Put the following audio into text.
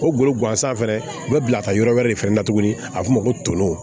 O golo gansan fɛnɛ u bɛ bila ka yɔrɔ wɛrɛ de fɛnɛ na tuguni a b'o fɔ ma ko toolo